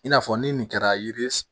I n'a fɔ ni nin kɛra yiri